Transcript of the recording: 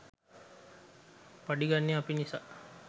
පඩි ගන්නේ අපි නිසා.